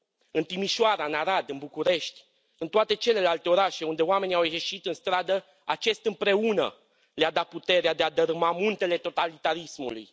În Timișoara, în Arad, în București, în toate celelalte orașe unde oamenii au ieșit în stradă, acest împreună le a dat puterea de a dărâma muntele totalitarismului.